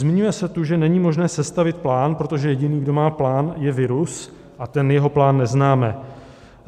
Zmiňuje se tu, že není možné sestavit plán, protože jediný, kdo má plán, je virus a ten jeho plán neznáme.